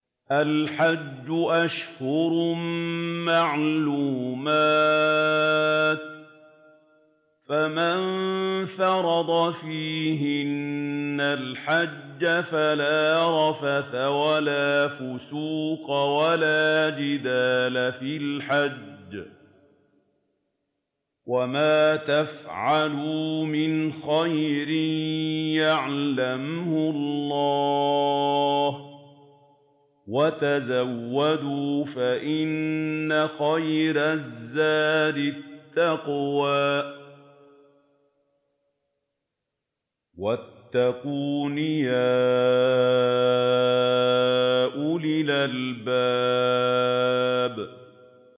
الْحَجُّ أَشْهُرٌ مَّعْلُومَاتٌ ۚ فَمَن فَرَضَ فِيهِنَّ الْحَجَّ فَلَا رَفَثَ وَلَا فُسُوقَ وَلَا جِدَالَ فِي الْحَجِّ ۗ وَمَا تَفْعَلُوا مِنْ خَيْرٍ يَعْلَمْهُ اللَّهُ ۗ وَتَزَوَّدُوا فَإِنَّ خَيْرَ الزَّادِ التَّقْوَىٰ ۚ وَاتَّقُونِ يَا أُولِي الْأَلْبَابِ